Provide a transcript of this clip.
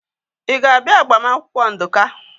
Ị ga-abịa agbamakwụkwọ Nduka?